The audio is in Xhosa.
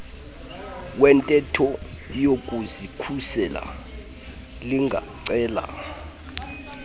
wentetho yokuzikhusela lingacela